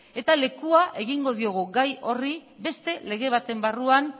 eta lekua egingo diogu gai horri beste lege baten barruan